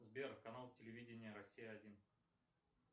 сбер канал телевидения россия один